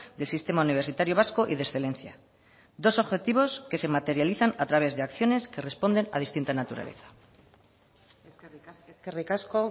del sistema universitario vasco y de excelencia dos objetivos que se materializan a través de acciones que responden a distinta naturaleza eskerrik asko eskerrik asko